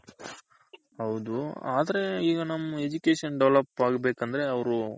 ಹೌದು ಆದರೆ ಈಗ ನಮ್ Education develop ಹಾಗ್ಬೇಕಂದ್ರೆ ಅವ್ರು